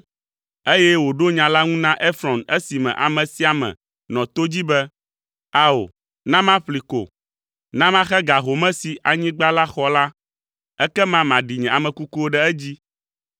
eye wòɖo nya la ŋu na Efrɔn esime ame sia ame nɔ to dzi be, “Ao, na maƒlee ko. Na maxe ga home si anyigba la xɔ la, ekema maɖi nye ame kukuwo ɖe edzi.”